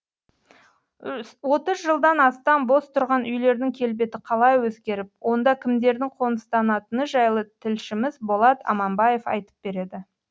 отыз жылдан астам бос тұрған үйлердің келбеті қалай өзгеріп онда кімдердің қоныстанатыны жайлы тілшіміз болат аманбаев айтып береді